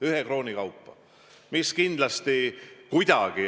Ühe krooni kaupa!